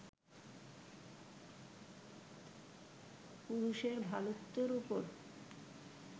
পুরুষের ভালোত্বের ওপর